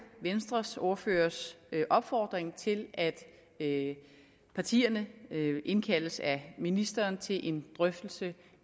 venstres ordførers opfordring til at at partierne indkaldes af ministeren til en drøftelse